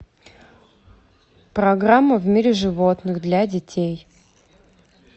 программа в мире животных для детей